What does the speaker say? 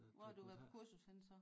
Hvor har du været på kursus henne så